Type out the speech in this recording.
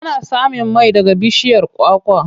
Ana samun mai daga bishiyar kwakwa.